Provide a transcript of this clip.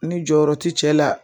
Ni jɔyɔrɔ ti cɛ la